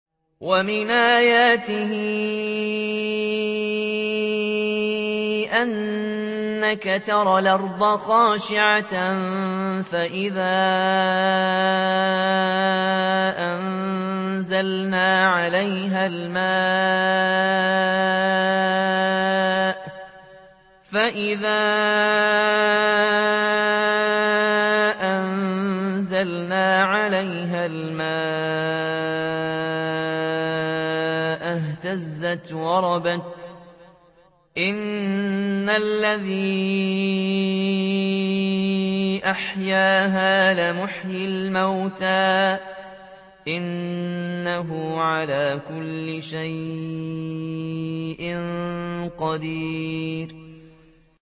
وَمِنْ آيَاتِهِ أَنَّكَ تَرَى الْأَرْضَ خَاشِعَةً فَإِذَا أَنزَلْنَا عَلَيْهَا الْمَاءَ اهْتَزَّتْ وَرَبَتْ ۚ إِنَّ الَّذِي أَحْيَاهَا لَمُحْيِي الْمَوْتَىٰ ۚ إِنَّهُ عَلَىٰ كُلِّ شَيْءٍ قَدِيرٌ